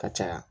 Ka caya